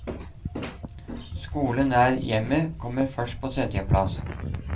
Skole nær hjemmet kommer først på tredje plass.